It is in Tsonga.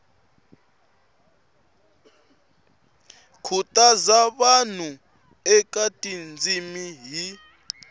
khutaza vanhu eka tindzimi hi